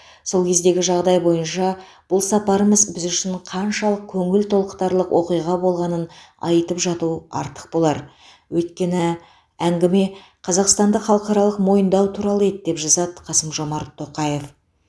сол кездегі жағдай бойынша бұл сапарымыз біз үшін қаншалық көңіл толқытарлық оқиға болғанын айтып жату артық болар өйткені әңгіме қазақстанды халықаралық мойындау туралы еді деп жазады қасым жомарт тоқаев